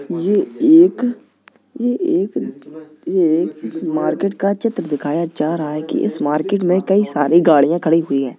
ये एक ये एक ये एक इस मार्केट का चित्र दिखाया जा रहा है की इस मार्केट मे कई सारी गड़िया खड़ी है।